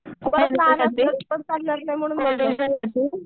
उगाच लहान असली तर चालणार नाही म्हणून